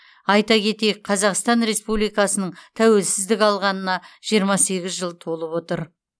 айта кетейік қазақстан республикасының тәуелсіздік алғанына жиырма сегіз жыл толып отыр